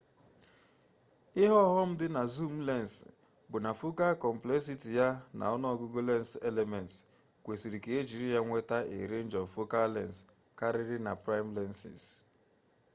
ihe ọghọm dị na zoom lens bụ na focal complexity ya na ọnụọgụgụ lens elements kwesịrị ka ejiri ya nweta a range of focal lengths karịrị na prime lenses